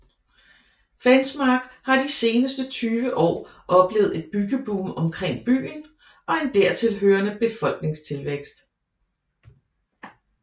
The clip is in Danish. Fensmark har de seneste 20 år oplevet et byggeboom omkring byen og en dertilhørende befolkningstilvækst